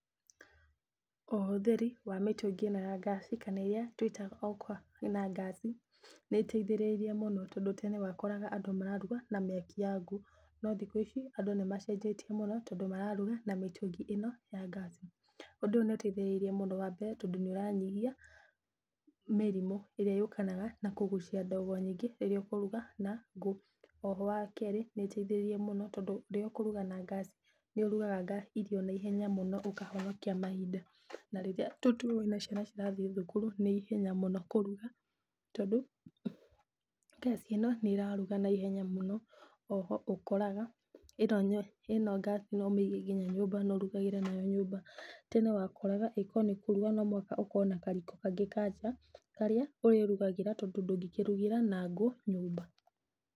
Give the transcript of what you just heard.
Ũhũthĩri wa mĩtũngi ĩno ya ngasi, kana ĩrĩa twĩtaga o kwa na nogasi, nĩteithĩrĩirie mũno tondũ tene wakoraga andũ mararuga na mĩaki ya ngũ, no thikũ ici, andũ nĩmacenjetie mũno tondũ mararuga na mĩtũngi ĩno ya ngasi, ũndũ ũyũ nĩũteithĩrĩirie mũno wambere tondũ nĩũranyihia mĩrimũ, ĩrĩa yũkanaga na kũgucia ndogo nyingĩ rĩrĩa ũkũruga na ngũ, oho wa kerĩ, nĩũteithĩrĩirie mũno tondũ rĩrĩa ũkũruga na ngasi, nĩũrugaga nga irio na ihenya mũno na ũkahonokia mahinda, na rĩrĩa tũtue wĩna ciana cirathiĩ thukuru, nĩ ihenya mũno kũruga, tondũ, ngasi ĩyo nĩraruga naihenya mũno, oho ũkoraga, ĩno nĩ ĩno ngasi noũmĩige nginya nyũmba na ũrugagĩre nayo nyũmba, tene wakoraga okorwo nĩ kũruga nomúhaka ũkorwo na kariko kangĩ ka nja, harĩa ũrĩrugagĩra tondũ ndũngĩrugĩra na ngũ nyũmba.